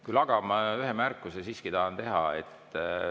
Küll aga tahan ma ühe märkuse siiski teha.